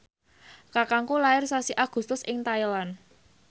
kakangku lair sasi Agustus ing Thailand